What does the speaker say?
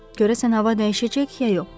Görəsən hava dəyişəcək, ya yox?